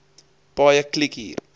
paaie kliek hier